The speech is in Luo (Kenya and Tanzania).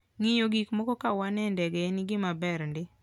Ng'iyo gik moko ka wan e ndege en gima ber ndi.